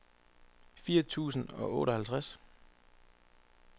fire tusind og otteoghalvtreds